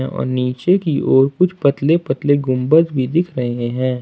और नीचे की ओर कुछ पतले पतले गुंबज भी दिख रहे हैं ।